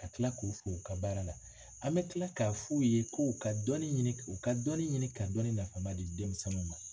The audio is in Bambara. Ka tila k'u fo u ka baara la an bɛ tila k'a f'u ye k' u ka dɔnni ɲini u ka dɔɔnin ɲini ka dɔnni nafama di denmisɛnninw ma.